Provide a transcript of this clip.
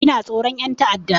Ina tsoron ƴan ta'adda